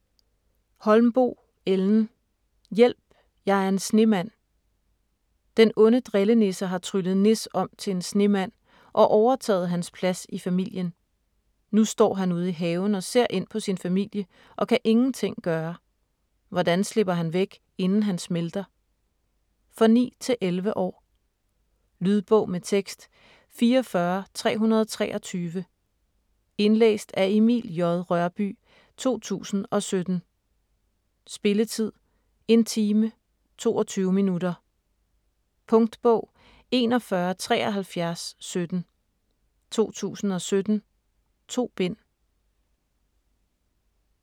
Holmboe, Ellen: Hjælp jeg er en snemand Den onde drillenisse har tryllet Nis om til en snemand, og overtaget hans plads i familien. Nu står han ude i haven, og ser ind på sin familie, og kan ingen ting gøre. Hvordan slipper han væk, inden han smelter? For 9-11 år. Lydbog med tekst 44323 Indlæst af Emil J. Rørbye, 2017. Spilletid: 1 time, 22 minutter. Punktbog 417317 2017. 2 bind.